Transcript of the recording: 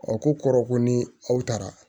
A ko kɔrɔ ko ni aw taara